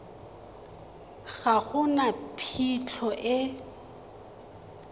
ga go na phitlho e